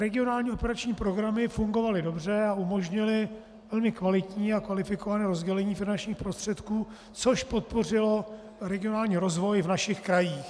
Regionální operační programy fungovaly dobře a umožnily velmi kvalitní a kvalifikované rozdělení finančních prostředků, což podpořilo regionální rozvoj v našich krajích.